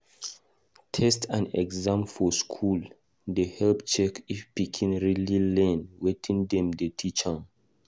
Test and exam for school dey help check if pikin really dey learn wetin dem dey teach am.